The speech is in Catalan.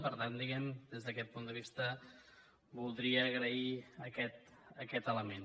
per tant diguem ne des d’aquest punt de vista voldria agrair aquest element